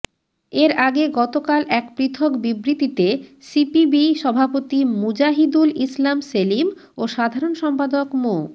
এর আগে গতকাল এক পৃথক বিবৃতিতে সিপিবি সভাপতি মুজাহিদুল ইসলাম সেলিম ও সাধারণ সম্পাদক মো